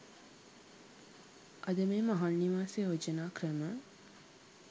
අද මේ මහල් නිවාස යෝජනා ක්‍රම